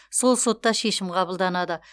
сол сотта шешім қабылданады